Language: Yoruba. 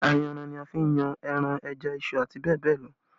Ayanran ni a fi n yan ẹran, ẹja, iṣu àti bẹ́ẹ̀ bẹ́ẹ̀ lọ